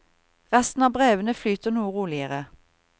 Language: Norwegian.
Resten av brevene flyter noe roligere.